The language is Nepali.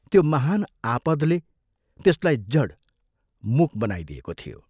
त्यो महान् आपदले त्यसलाई जड, मूक बनाइदिएको थियो।